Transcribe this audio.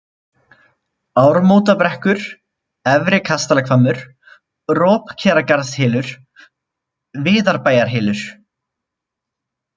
Ármótabrekkur, Efri-Kastalahvammur, Ropkeragarðshylur, Viðarbæjarhylur